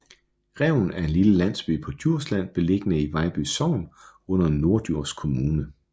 Revn er en lille landsby på Djursland beliggende i Vejlby Sogn under Norddjurs Kommune